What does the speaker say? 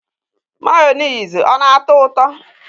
Mayonezi ọ na atọ ụtọ?